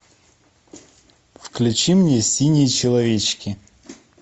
включи мне синие человечки